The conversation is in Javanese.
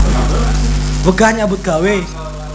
Wegah nyambut gawé